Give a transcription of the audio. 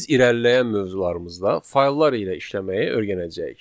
Biz irəliləyən mövzularımızda fayllar ilə işləməyi öyrənəcəyik.